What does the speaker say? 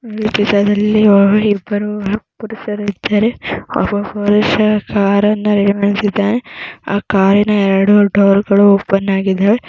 ಈ ಚಿತ್ರದಲ್ಲಿ ಆ ಇಬ್ಬರು ಪುರುಷರು ಇದ್ದಾರೆ. ಒಬ್ಬ ಪುರುಷ ಕಾರ್ ಅನ್ನ . ಆ ಕಾರಿನ ಎರಡು ಡೋರ್ ಗಳು ಓಪನ್ ಆಗಿದಾವೆ.